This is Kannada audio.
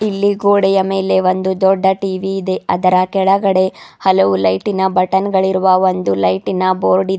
ಇಲ್ಲಿ ಗೋಡೆಯ ಮೇಲೆ ಒಂದು ದೊಡ್ಡ ಟಿ_ವಿ ಇದೆ ಅದರ ಕೆಳಗಡೆ ಹಲವು ಲೈಟಿನ ಬಟನ್ ಗಳಿರುವ ಒಂದು ಲೈಟಿನ ಬೋರ್ಡ್ ಇದೆ.